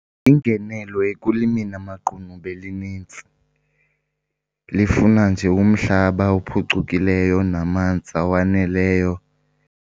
Ingenelo ekulimeni amaqunube linintsi. Lifuna nje umhlaba ophucukileyo namanzi awaneleyo.